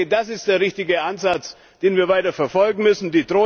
Das ist der richtige Ansatz, den wir weiter verfolgen müssen.